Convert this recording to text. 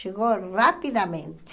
Chegou rapidamente.